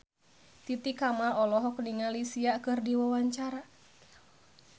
Titi Kamal olohok ningali Sia keur diwawancara